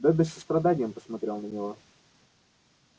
добби с состраданием посмотрел на него